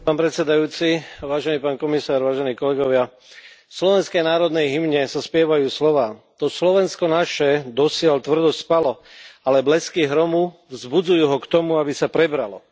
Pán predsedajúci, vážený pán komisár, vážení kolegovia, v slovenskej národnej hymne sa spievajú slová to Slovensko naše dosiaľ tvrdo spalo, ale blesky hromu vzbudzujú ho k tomu, aby sa prebralo.